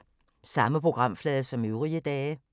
Samme programflade som øvrige dage